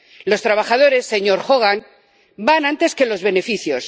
Los trabajadores, señor Hogan, van antes que los beneficios.